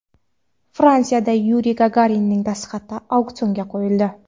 Fransiyada Yuriy Gagarinning dastxati auksionga qo‘yildi.